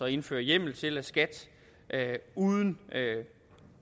indføre hjemmel til at skat uden